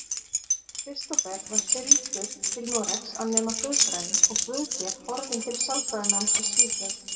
Kristófer var sigldur til Noregs að nema guðfræði og Guðgeir horfinn til sálfræðináms í Svíþjóð.